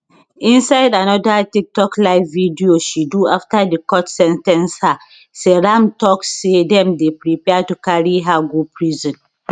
inside anoda tiktok live video she do afta di court sen ten ce her seyram tok say dem dey prepare to carry her go prison